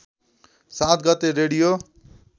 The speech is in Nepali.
७ गते रेडियो